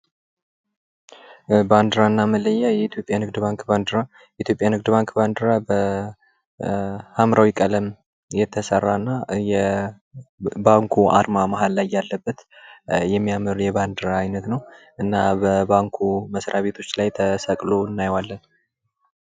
ባንዲራና መለያ የኢትዮጵያ ንግድ ባንክ ባንዲራ በሀምራዊ ቀለም የተሰራ እና የባንኩ አርማ ላይ ያለበት የሚያምር የባንድራ ዓይነት ነው በባንኩ መስሪያ ቤቶች ላይ ተሰቅሎ እናየዋለን።